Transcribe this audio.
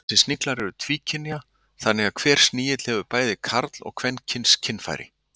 Þessir sniglar eru tvíkynja þannig að hver snigill hefur bæði karl- og kvenkyns kynfæri.